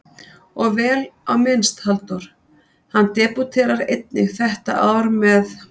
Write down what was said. Og vel á minnst Halldór, hann debúterar einnig þetta ár með